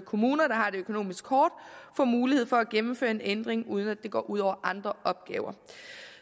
kommuner der har det økonomisk hårdt får mulighed for at gennemføre en ændring uden at det går ud over andre opgaver